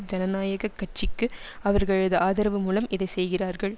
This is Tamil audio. ஜனநாயக கட்சிக்கு அவர்களது ஆதரவு மூலம் இதை செய்கிறார்கள்